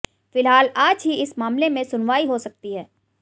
फिलहाल आज ही इस मामले में सुनवाई हो सकती है